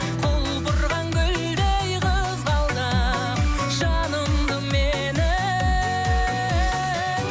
құлпырған гүлдей қызғалдақ жанымды менің